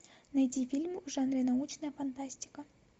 найди фильм в жанре научная фантастика